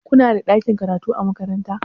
Kunada ɗakin karatu a makaranta?